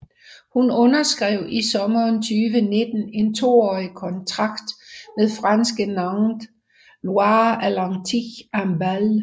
Hun underskrev i sommeren 2019 en toårig kontrakt med franske Nantes Loire Atlantique Handball